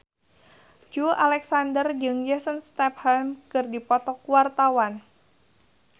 Joey Alexander jeung Jason Statham keur dipoto ku wartawan